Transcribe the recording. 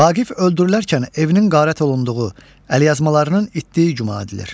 Vaqif öldürülərkən evinin qarət olunduğu, əlyazmalarının itdiyi güman edilir.